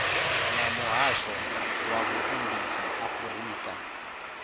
na muhasho wa vhuendisi afurika